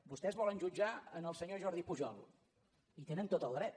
vostès volen jutjar el senyor jordi pujol hi tenen tot el dret